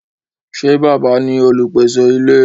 Ṣé bàbá ní olùpèsè ilé?